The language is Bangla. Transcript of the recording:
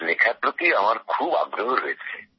লেখার প্রতি আমার খুব আগ্রহ রয়েছে